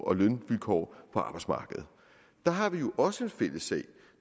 og lønvilkår på arbejdsmarkedet der har vi jo også en fælles sag